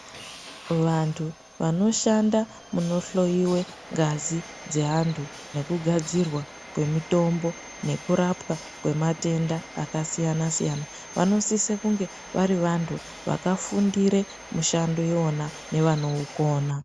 Vantu vanoshanda kunohloiwe ngazi dzeantu nekugadzirwa kwemutombo, nekurapwa kwematenda akasiyana-siyana vanosise kunge vari vantu, vakafundire mishando iyona nevakaifundira.